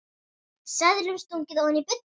Seðlum stungið ofan í buddu.